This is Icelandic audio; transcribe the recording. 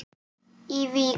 í Vík.